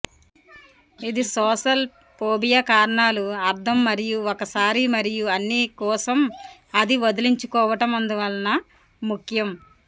ఇది social phobia కారణాలు అర్థం మరియు ఒకసారి మరియు అన్ని కోసం అది వదిలించుకోవటం అందువలన ముఖ్యం